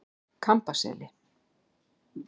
Kambaseli